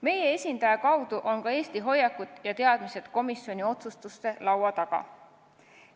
Meie esindaja kaudu jõuavad Eesti hoiakud ja teadmised ka komisjoni otsustuste laua taha.